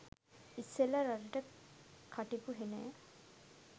ඉස්සෙල්ල රටට කටිපු හෙනය